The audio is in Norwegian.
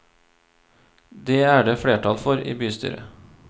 Dét er det flertall for i bystyret.